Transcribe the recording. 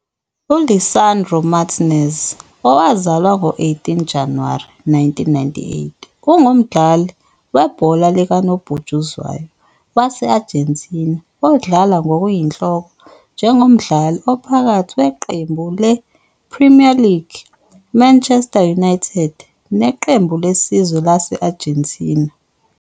ULisandro Martínez, owazalwa ngo-18 January 1998, ungumdlali webhola likanobhutshuzwayo wase-Argentina odlala ngokuyinhloko njengomdlali ophakathi weqembu le-I-Premier League I-Manchester United neqembu lesizwe lase-Argentine.